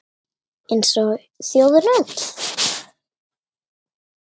Eins og þjóðin öll